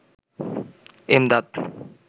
Emdad